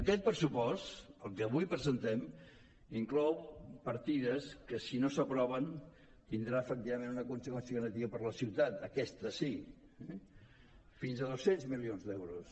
aquest pressupost el que avui presentem inclou partides que si no s’aproven tindrà efectivament una conseqüència negativa per a la ciutat aquesta sí eh fins a dos cents milions d’euros